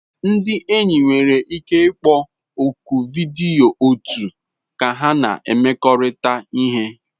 Ndị enyi nwere ike ịkpọ oku vidiyo otu ka ha na-emekọrịta ihe